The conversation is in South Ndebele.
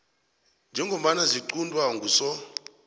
njengombana ziquntwa nguso